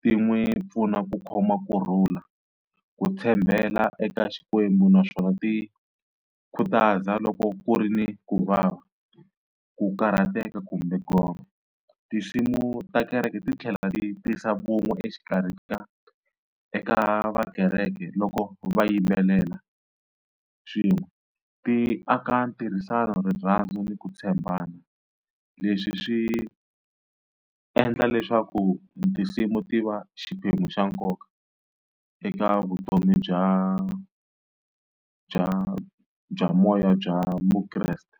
ti n'wi pfuna ku khoma kurhula, ku tshembela eka Xikwembu. Naswona ti khutaza loko ku ri ni ku vava, ku karhateka kumbe gome. Tinsimu ta kereke ti tlhela ti tisa vun'we exikarhi ka eka va kereke loko va yimbelela swin'we, ti aka ntirhisano, rirhandzu ni ku tshembana leswi swi endla leswaku tinsimu ti va xiphemu xa nkoka eka vutomi bya bya bya moya bya Mukreste.